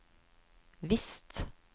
visst